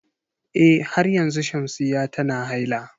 Eh har yanzu Shamsiyya tana haila.